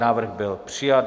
Návrh byl přijat.